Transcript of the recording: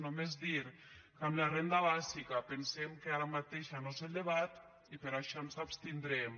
només dir que en la renda bàsica pensem que ara mateix no és el debat i per això ens abstindrem